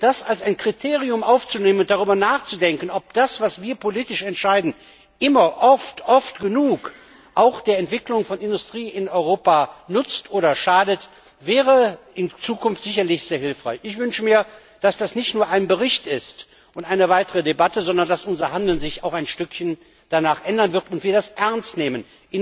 Das als ein Kriterium aufzunehmen und darüber nachzudenken, ob das, was wir politisch entscheiden, immer oft, oft genug auch der Entwicklung der Industrie in Europa nützt oder schadet, wäre in Zukunft sicherlich sehr hilfreich. Ich wünsche mir, dass das nicht nur ein Bericht und Thema einer weiteren Debatte ist, sondern dass sich unser Handeln danach auch ein Stück weit ändern wird und dass wir das ernst nehmen.